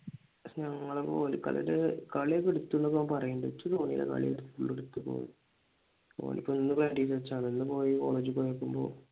ഞങ്ങടെ കൊൽക്കളിയുടെ കളിയൊക്കെ എടുത്തുന്നൊക്കെ പറയുന്നുണ്ട് എനിക്ക് തോന്നുന്നില്ല കാളിയെടുത്തെന്ന്